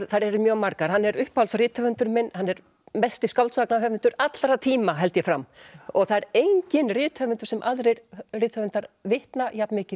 þær eru mjög margar hann er uppáhalds rithöfundurinn minn hann er mesti skáldsagnahöfundur allra tíma held ég fram það er enginn rithöfundur sem aðrir rithöfundar vitna jafn mikið